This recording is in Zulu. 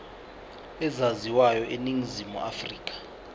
ezaziwayo eningizimu afrika